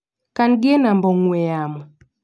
Kan gi e namba ong'ue yamo.